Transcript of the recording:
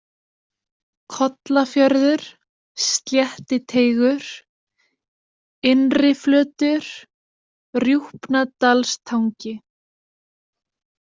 Kollafjörður, Sléttiteigur, Innriflötur, Rjúpnadalstangi